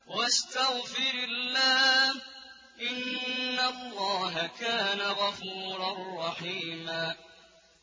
وَاسْتَغْفِرِ اللَّهَ ۖ إِنَّ اللَّهَ كَانَ غَفُورًا رَّحِيمًا